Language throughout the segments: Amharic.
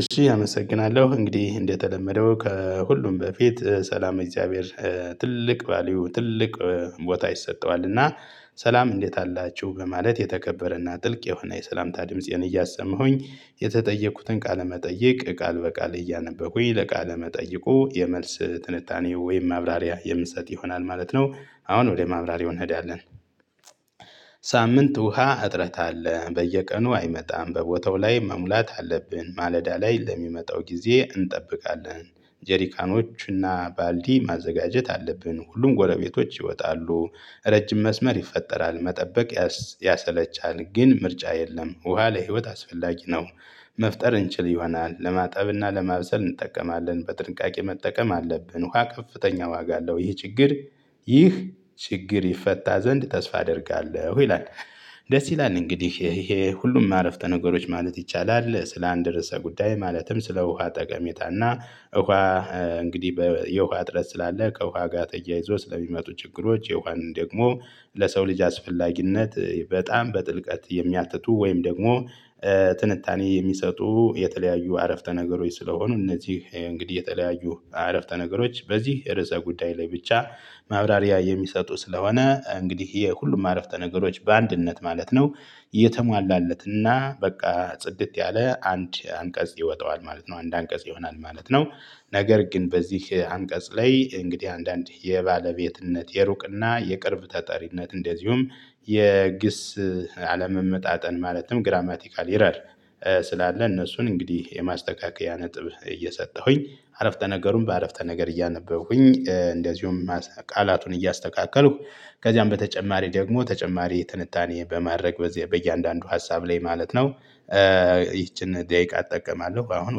እሺ አመሰግናለሁ እንግዲህ እንደተለመደው ከሁሉም በፊት ሰላም እግዚአብሔር ትልቅ ቫልዩ ትልቅ ቦታ ይሰጠዋል። እና ሰላም እንዴት አላችሁ በማለት የተከበረና ጥልቅ የሆነ የሰላምታ ድምጽዬን እያሰመሁኝ የተጠየቁትን ቃለ መጠየቅ ቃል በቃል እያነበብኩኝ ለቃለ መጠየቁ የመልስ ትንታኔ ወይም ማብራሪያ የምሰጥ ይሆናል። ማለት ነው አሁን ወደ ማብራሪያው እንሄዳለን። ሳምንት ውሃ እጥረት አለ በየቀኑ አይመጣም በቦታው ላይ መሙላት አለብን ማለዳ ላይ ለሚመጣው ጊዜ እንጠብቃለን። ጀሪካኖች እና ባልዲ ማዘጋጀት አለብን ሁሉም ጎረቤቶች ይወጣሉ። ረጅም መስመር ይፈጠራል መጠበቅ ያሰለቻል። ግን ምርጫ የለም ውሃ ለህይወት አስፈላጊ ነው። መፍጠር እንችል ይሆናል ለማጠብና ለማብሰል እንጠቀማለን በጥንቃቄ መጠቀም አለብን ውሃ ከፍተኛ ዋጋ አለው። ይህ ችግር ይህ ችግር ይፈታ ዘንድ ተስፋ አደርጋለሁ። ይላል ደስ ይላል እንግዲህ ይሄ ሁሉም አረፍተ ነገሮች ማለት ይቻላል። ስለ አንድ ርዕሰ ጉዳይ ማለትም ስለ ውሃ ጠቀሜታና። እንግዲህ የውሃ እጥረት ስላለ ከውሃ ጋር ተያይዞ ስለሚመጡ ችግሮች የዋን ደግሞ ለሰው ልጅ አስፈላጊነት። በጣም በጥልቀት የሚያትቱ ወይም ደግሞ ትንታኔ የሚሰጡ የተለያዩ አረፍተ ነገሮች ስለሆኑ እነዚህ እንግዲህ የተለያዩ አረፍተ ነገሮች በዚህ ርዕሰ ጉዳይ ላይ ብቻ ማብራሪያ የሚሰጡ ስለሆነ እንግዲህ የሁሉም አረፍተ ነገሮች በአንድነት ማለት ነው። የተሟላለትና በቃ ጽድት ያለ አንድ አንቀጽ ይወጣዋል ማለት ነው አንድ አንቀጽ ይሆናል ማለት ነው። ነገር ግን በዚህ አንቀጽ ላይ እንግዲህ አንዳንድ የባለቤትነት የሩቅና የቅርብ ተጠሪነት እንደዚሁም የግስ አለመመጣጠን ማለትም ግራማቲካል ኢረር። ስላለ እነሱን እንግዲህ የማስተካከያ ነጥብ እየሰጠሁኝ አረፍተ ነገሩን በአረፍተ ነገር እያነበብኩኝ እንደዚሁም ቃላቱን እያስተካከልኩ ከዚያም በተጨማሪ ደግሞ ተጨማሪ ትንታኔ በማድረግ በየአንዳንዱ ሀሳብ ላይ ማለት ነው። ይቺን ደቂቃ እጠቀማለሁ አሁን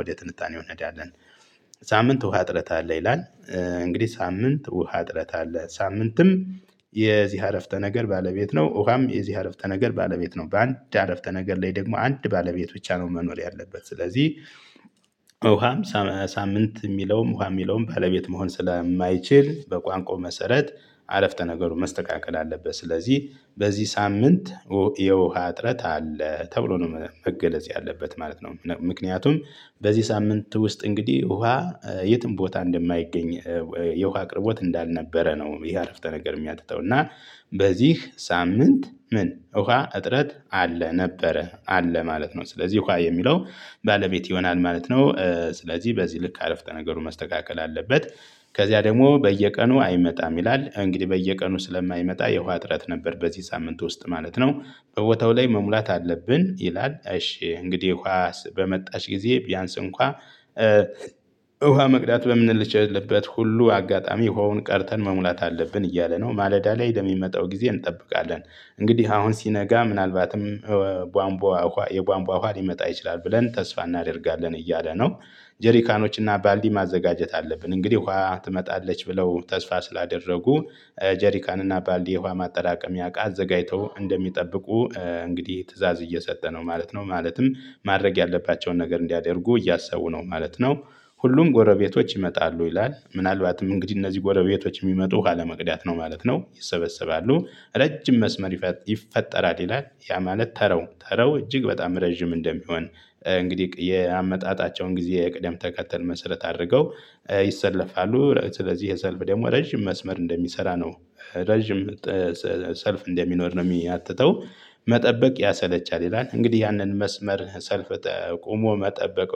ወደ ትንታኔ እንሄዳለን። ሳምንት ውሃ እጥረት አለ ይላል። እንግዲህ ሳምንት ውሃ አጥረት አለ ሳምንትም የዚህ አረፍተ ነገር ባለቤት ነው ውሃም የዚህ አረፍተ ነገር ባለቤት ነው በአንድ አረፍተ ነገር ላይ ደግሞ አንድ ባለቤት ብቻ ነው መኖር ያለበት ስለዚህ። ውሃም ሳምንት የሚለውም ውሃ የሚለውም ባለቤት መሆን ስለማይችል በቋንቋው መሰረት አረፍተ ነገሩን መስተካከል አለበት ስለዚህ በዚህ ሳምንት የውሃ እጥረት አለ ተብሎ ነው መገለጽ ያለበት ማለት ነው። ምክንያቱም በዚህ ሳምንት ውስጥ እንግዲህ ውሃ የትም ቦታ እንደማይገኝ የውሃ አቅርቦት እንዳልነበረ ነው። ይሄ አረፍተ ነገር የሚያትተው እና በዚህ ሳምንት ምን ውሃ እጥረት አለ ነበረ አለ ማለት ነው። ስለዚህ ውሃ የሚለው ባለቤት ይሆናል ማለት ነው ስለዚህ በዚህ ልክ አረፍተ ነገሩን መስተካከል አለበት። ከዚያ ደግሞ በየቀኑ አይመጣም ይላል እንግዲህ በየቀኑ ስለማይመጣ የውሃ አጥረት ነበር በዚህ ሳምንት ውስጥ ማለት ነው። በቦታው ላይ መሙላት አለብን ይላል እሺ እንግዲህ ዉሃ በመጣች ጊዜ ቢያንስ እንኳን ውሃ መቅዳት በምንልችልበት ሁሉ አጋጣሚ ውሃውን ቀድተን መሙላት አለብን እያለ ነው ማለዳ ላይ ለሚመጣው ጊዜ እንጠብቃለን። እንግዲህ አሁን ሲነጋ ምናልባትም የቧንቧ የቧንቧ ውሃ ሊመጣ ይችላል ብለን ተስፋ እናደርጋለን እያለ ነው። ጀሪካኖች እና ባልዲ ማዘጋጀት አለብን እንግዲህ ውሃ ትመጣለች ብለው ተስፋ ስላደረጉ ጀሪካን እና ባልዲ የውሃ ማጠራቀሚያ እቃ አዘጋጅተው እንደሚጠብቁ እንግዲህ ትእዛዝ እየሰጠ ነው ማለት ነው ማለትም ማድረግ ያለባቸውን ነገር እንዲያደርጉ እያሰቡ ነው ማለት ነው። ሁሉም ጎረቤቶች ይመጣሉ ይላል ምናልባትም እንግዲህ እነዚህ ጎረቤቶች የሚመጡ ውሁ ለመቅዳት ነው ማለት ነው ይሰበሰባሉ ረጅም መስመር ይፈጠራል ይላል ያ ማለት ተራው ተራው እጅግ በጣም ረጅም እንደሚሆን። እንግዲህ ያመጣጣቸውን ጊዜ ቅደም ተከተል መሰረት አድርገው ይሰለፋሉ ስለዚህ ይህ ሰልፍ ደግሞ ረጅም መስመር እንደሚሰራ ነው። ረጅም ሰልፍ እንደሚኖር ነው የሚያትተው። መጠበቅ ያሰለቻል ይላል እንግዲህ ያንን መስመር ሰልፍ ቆሞ መጠበቅ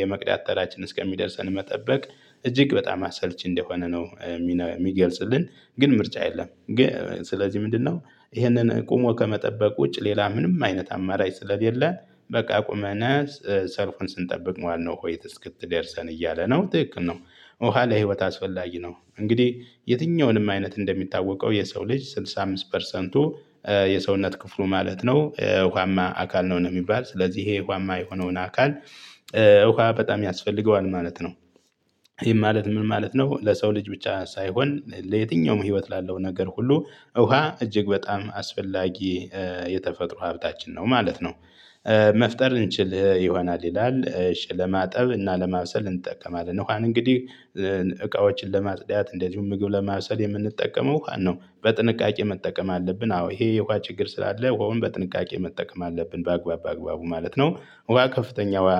የመቅዳት ተራችን እስከሚደርሰን መጠበቅ እጅግ በጣም አሰልቺ እንደሆነ ነው። የሚገልጽልን ግን ምርጫ የለም። ስለዚህ ምንድነው? ይህንን ቆሞ ከመጠበቅ ውጭ ሌላ ምንም አይነት አማራጭ ስለሌለ በቃ ቁመነ ሰልፉን ስንጠብቅ መዋል ነው ውሀይቱ እስክትደርሰን እያለ ነው ትክክል ነው። ኋላ ህይወት አስወላጊ ነው እንግዲህ የትኛውንም አይነት እንደሚታወቀው የሰው ልጅ ስድሳ አምስት ፐርሰንቱ የሰውነት ክፍሉ ማለት ነው እውሀማ አካል ነው ነው የሚባል ስለዚህ ይሄ እውሃማ የሆነውን አካል እሁሃ በጣም ያስፈልገዋል ማለት ነው። ይሄን ማለት ምን ማለት ነው? ለሰው ልጅ ብቻ ሳይሆን ለየትኛውም ህይወት ላለው ነገር ሁሉ ውሃ እጅግ በጣም አስፈላጊ የተፈጥሮ ሀብታችን ነው ማለት ነው። መፍጠር እንችል ይሆናል ይላል እሺ ለማጠብ እና ለማብሰል እንጠቀማለን እንግዲህ እቃዎችን ለማጽዳት እንደዚሁም ምግብ ለማብሰል የምንጠቀመው ውሃን ነው በጥንቃቄ መጠቀም አለብን። አዎ ይሄ የውሃ ችግር ስላለ ውሃውን በጥንቃቄ መጠቀም አለብን በአግባቡ በአግባቡ ማለት ነው። ውሃ ከፍተኛ ውሃ